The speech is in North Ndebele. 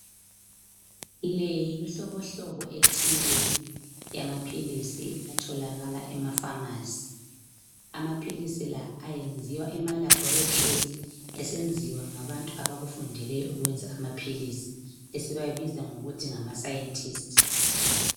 Le yimihlobohlobo ethile yamaphilisi atholakala ema pharmacy amaphilisi la enziwa ema laboratory esenziwa ngabantu abakufundeleyo ukwenza amaphilisi esibabiza ngokuthi ngama scientist.